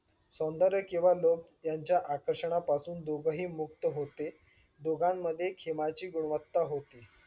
सौंदर्य किंवा लोभ त्यांच्या आकर्षणापासून दोघंही मुक्त होते. दोघांमध्ये खेमाची गुणवत्ता होती.